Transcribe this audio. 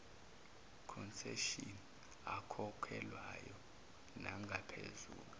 concession akhokhelwayo nangaphezulu